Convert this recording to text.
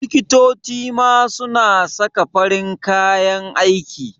Liktoci ma su na saka farin kayan aiki